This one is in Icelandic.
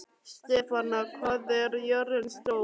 Stefana, hvað er jörðin stór?